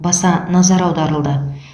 баса назар аударылды